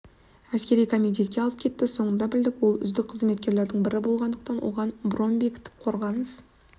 әскери комитетке алып кеті соңынан білдік ол үздік қызметкерлердің бірі болғандықтан оған бронь бекітіп қорғаныс